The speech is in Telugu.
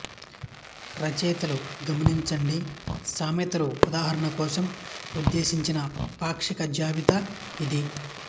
రచయితలు గమనించండి సామెతల ఉదాహరణ కోసం ఉద్దేశించిన పాక్షిక జాబితా ఇది